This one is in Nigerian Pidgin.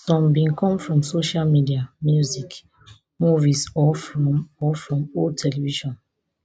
some bin come from social media music movies or from or from old television